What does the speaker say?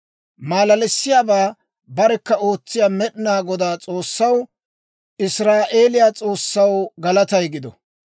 Malalissiyaabaa barekka ootsiyaa Med'inaa Godaa S'oossaw, Israa'eeliyaa S'oossaw galatay gido.